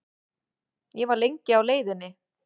Ég var lengi á leiðinni heim.